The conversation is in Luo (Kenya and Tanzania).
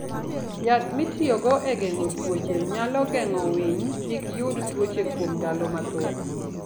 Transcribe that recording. Yath mitiyogo e geng'o tuoche, nyalo geng'o winy kik yud tuoche kuom ndalo mathoth.